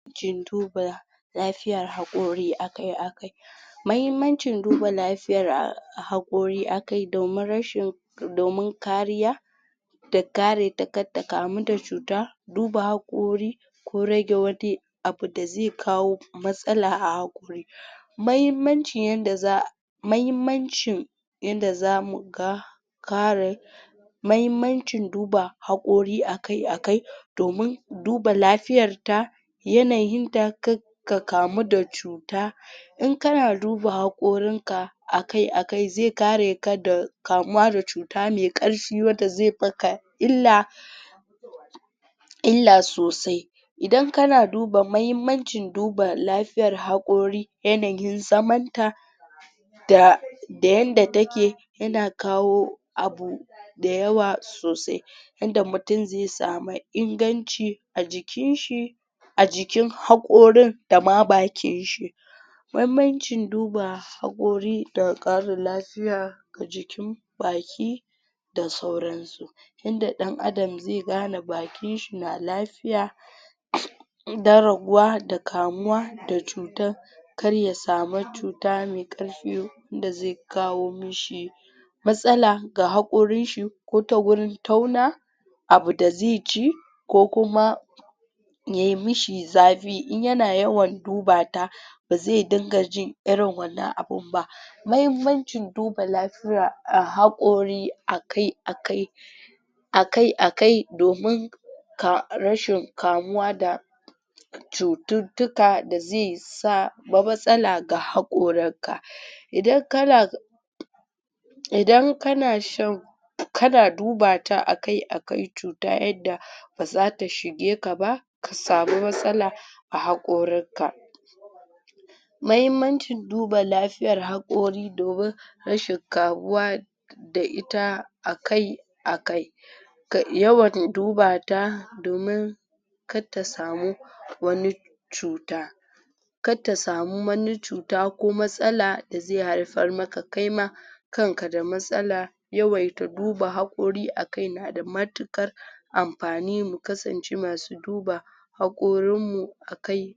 jin duba lafiyar haƙori akai akai mahimmancin duba lafiyar haƙori akai domin rashin domin kariya da kare ta kattakamu da cuta duba haƙori ko rage wani abu da zai kawo matsala a haƙori mahimmancin yanda mahimmanci yanda zamuga kare mahimmancin duba haƙori akai akai domin duba lafiyar ta yanayin da kak ka kamu da cuta in kana duba haƙorin ka akai akai zai kareka da kamuwa da cuta mai ƙarfi wanda zai maka illa illa sosai idan kana duba mahimmancin duba lafiyar haƙori yanayin zaman ta da yanda take yana kawo abu dayawa sosai yanda mutum zai sama inganci a jikin shi a jikin haƙorin dama bakin shi banbancin duba haƙori da ƙarin lafiya ga jikin baki da sauransu. yanda ɗan adam zai gane bakin shi na lafiya dan raguwa da kamuwa da cuta kar ya samu cuta mai ƙarfi wanda zai kawo mashi matsala ga haƙorin shi ko ta gurin tauna abu da zaici ko kuma yayi mashi zafi in yana yawan duba ta bazai dinga ji irin wannan abun ba mahimmancin duba lafiyar haƙori akai akai akai akai domin ka rashin kamuwa da cututtuka da zai sa ma matsala ga haƙoran ka idan kana idan kana shan kana duba ta akai akai cuta yadda bazata shige kaba ka samu matsala a haƙorin ka mahimmancin duba lafiyar haƙori domin rashin kamuwa da ita akai akai ka yawan duba ta domin katta samu wani cuta. katta samu wani cuta ko matsala da zai haifar maka kaima kanka da matsala yawaita duba haƙori akai nada matuƙar mafani mu kasance masu duba haƙorin mu akai.